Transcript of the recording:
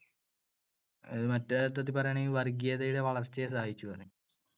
മറ്റേ അർത്ഥത്തിൽ പറയുകയാണെങ്കിൽ വർഗീയതയുടെ വളർച്ചയെ സഹായിച്ചൂന്ന് പറയും. അവര് മുസ്ലീം ലീഗ്.